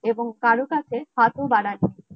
এবং কারোর কাছে হাত ও বাড়ান নি